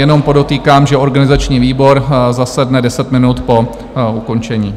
Jenom podotýkám, že organizační výbor zasedne 10 minut po ukončení.